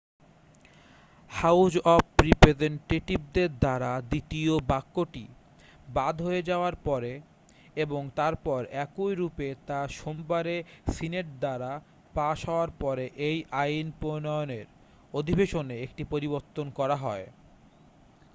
house of রিপ্রেজেন্টটেটিভদের দ্বারা দ্বিতীয় বাক্যটি বাদ হয়ে যাওয়ার পরে এবং তারপর একই রূপে তা সোমবারে সিনেট দ্বারা পাশ হওয়ার পরে এই আইন প্রণয়নের অধিবেশনে একটি পরিবর্তন করা হয়